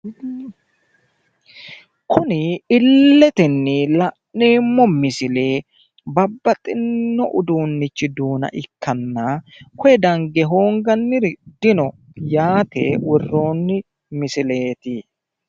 Kuni illitenni la'neemmo misile babbaxinno uduunnichi duuna ikkanna koye dange hoonganniri dino yaate worroonni misileeti.